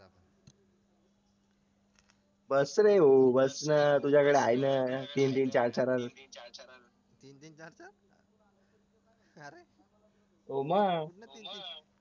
काय भाऊ बसणा तुझ्याकडे आहे ना तीन तीन चार चार हो मग